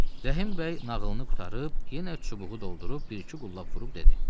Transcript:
Rəhim bəy nağılını qurtarıb, yenə çubuğu doldurub bir-iki qullab vurub dedi.